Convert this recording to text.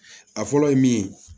A fɔlɔ ye min ye